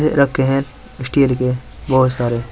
ये रखे हैं स्टील के बोहोत सारे।